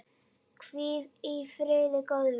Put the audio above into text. Hvíl í friði, góði vinur.